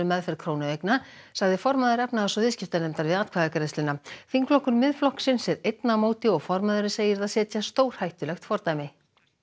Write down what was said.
meðferð krónueigna sagði formaður efnahags og viðskiptanefndar Alþingis við atkvæðagreiðsluna þingflokkur Miðflokksins er einn á móti og formaðurinn segir það setja stórhættulegt fordæmi